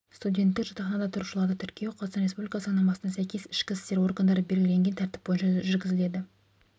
студенттік жатақханада тұрушыларды тіркеу қазақстан республикасы заңнамасына сәйкес ішкі істер органдары белгілеген тәртіп бойынша жүргізіледі